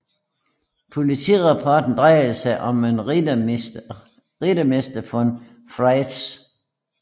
Politirapporten drejede sig om en Rittmeister von Frisch